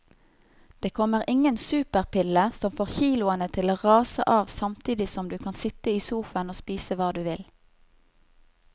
Det kommer ingen superpille som får kiloene til å rase av samtidig som du kan sitte i sofaen og spise hva du vil.